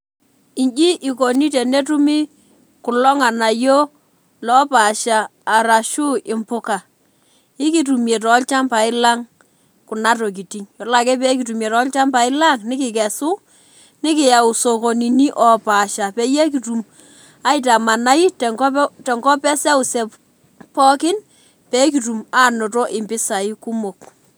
Inji ikuni tenetumi kulo nganayio arashu impuka ikitumie tolchambai lang kuna tokitin tolchambai lang nikikesu nikiyau sokonini opaasha peyie kitum aitamanai tenkop eseuseu pooki pekitum ainoto mpisai kumok